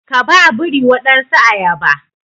Ka ba biri wadansu ayaba